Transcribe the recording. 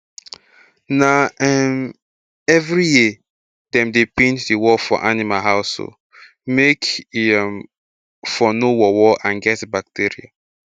na um every year dem dey paint the wall for animal house um make e um for nor worwor and get bacteria